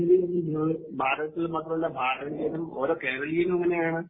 ഭാരതത്തിൽ മാത്രമല്ല ഭാരതീയരും ഓരോ കേരളീയനും അങ്ങനെയാണ്.